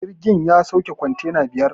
Jirgin ya sauke kwantena biyar